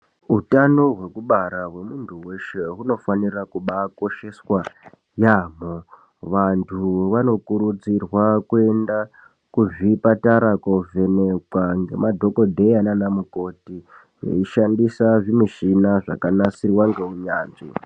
Utano hwekubara hwemuntu weshe hunofanira kubaakosheswa yaamho. Vantu vanokurudzirwa kuenda kuzvipatara, koovhenekwa ngemadhokodheya nana mukoti, veishandisa zvimishina zvakanasirwa ngeunyanzvi.